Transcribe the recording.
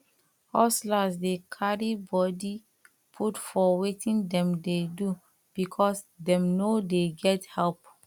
hustlers dey carry body put for wetin dem dey do because dem no dey get help